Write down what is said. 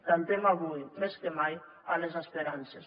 cantem avui més que mai a les esperances